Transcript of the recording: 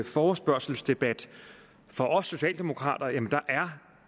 forespørgselsdebat for os socialdemokrater er